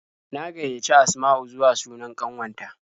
Na gaiyaci Asma'u zuwa sunan ƙanwata.